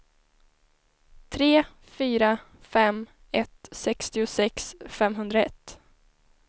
tre fyra fem ett sextiosex femhundraett